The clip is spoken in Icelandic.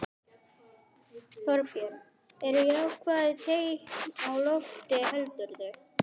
Þorbjörn: Eru jákvæð teikn á lofti heldurðu?